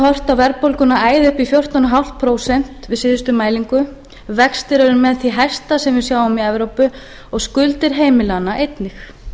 á verðbólguna æða upp í fjórtán komma fimm prósent við síðustu mælingu vextir eru með því hæsta sem við sjáum í evrópu og skuldir heimilanna einnig